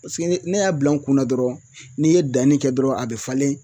Paseke ne y'a bila n kunna dɔrɔn n'i ye danni kɛ dɔrɔn a be falen